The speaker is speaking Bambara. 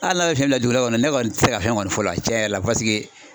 Hali n'a bɛ fiɲɛ don dɔ kɔnɔ ne kɔni tɛ se ka fɛn kɔni fɔ o la tiɲɛ yɛrɛ la